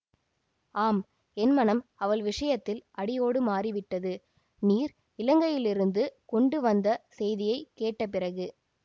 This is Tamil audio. ஆம் என் மனம் அவள் விஷயத்தில் அடியோடு மாறிவிட்டது நீர் இலங்கையிலிருந்து கொண்டு வந்த செய்தியை கேட்ட பிறகு